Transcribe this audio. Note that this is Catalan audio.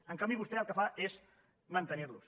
en canvi vostè el que fa és mantenir los